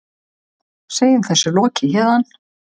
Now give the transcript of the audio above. Segjum þessu lokið héðan.